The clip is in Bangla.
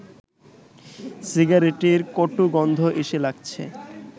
সিগারেটের কটু গন্ধ এসে লাগছে